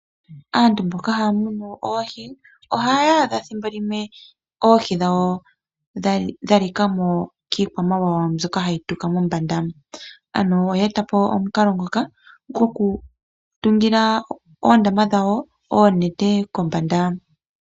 Aantu mboka haya munu oohi ohaya adha ethimbo limwe oohi dhawo dha lika mo kiikwamawawa mbyoka hayi tuka mombanda. Oye eta po omukalo ngoka gokusiikila oondama dhawo noonete kombanda.